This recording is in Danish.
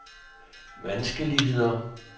vanskeligheder